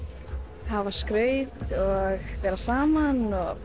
hafa skraut og vera saman